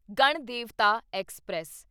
Ganadevata express